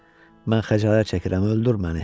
Mən xəcalət çəkirəm, öldür məni.